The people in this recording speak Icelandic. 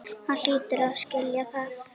Hann hlýtur að skilja það.